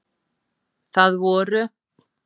Það voru